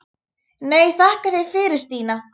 Nei, þakka þér fyrir Stína mín.